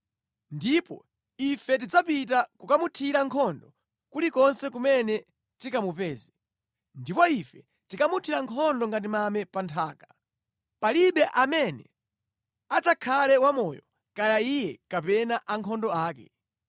Ndipo ife tidzapita kukamuthira nkhondo kulikonse kumene tikamupeze, ndipo ife tikamuthira nkhondo ngati mame pa nthaka. Palibe amene adzakhale wamoyo kaya iye kapena ankhondo ake.